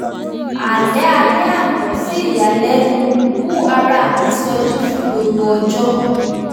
àlá alẹ́ àná sí ìyàlẹ́nu mú ara mì sọjí fún gbogbo ọjọ́